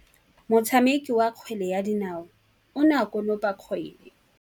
Motshameki wa kgwele ya dinaô o ne a konopa kgwele.